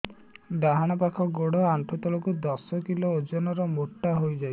ଡାହାଣ ପାଖ ଗୋଡ଼ ଆଣ୍ଠୁ ତଳକୁ ଦଶ କିଲ ଓଜନ ର ମୋଟା ହେଇଯାଇଛି